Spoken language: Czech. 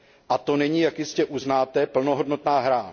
A to není, jak jistě uznáte, plnohodnotná hra.